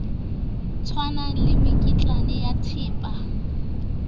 tshwanang le mekitlane ya thepa